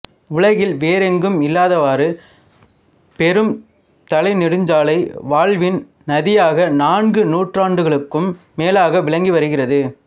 உலகில் வேறெங்கும் இல்லாதவாறு பெரும் தலைநெடுஞ்சாலை வாழ்வின் நதியாக நான்கு நூற்றாண்டுகளுக்கும் மேலாக விளங்கி வருகிறது